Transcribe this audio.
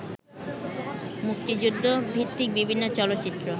মুক্তিযুদ্ধভিত্তিক বিভিন্ন চলচ্চিত্র